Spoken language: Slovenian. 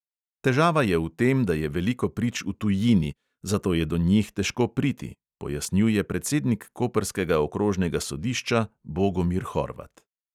Težava je v tem, da je veliko prič v tujini, zato je do njih težko priti, pojasnjuje predsednik koprskega okrožnega sodišča bogomir horvat.